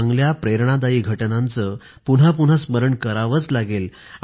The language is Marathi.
चांगल्या प्रेरणादायी घटनांचं पुन्हापुन्हा स्मरण करावंच लागेल